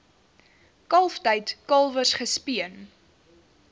kalftyd kalwers gespeen